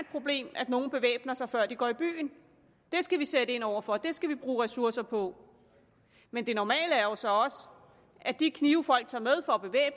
problem at nogle bevæbner sig før de går i byen det skal vi sætte ind over for det skal vi bruge ressourcer på men det normale er jo så også at de knive folk tager